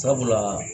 Sabula